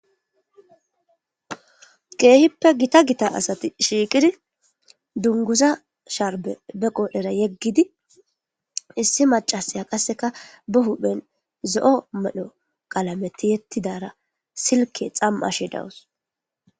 Kihippe gitta gitta assati shiqiddi dunguzza shashe beqqodherra yegiddi issi maccassiya behuphen zo77o qallame ti77etidarra sikke xam77ashe daws.